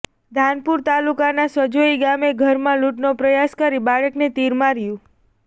ધાનપુર તાલુકાના સજોઇ ગામે ઘરમાં લૂંટનો પ્રયાસ કરી બાળકને તીર માર્યું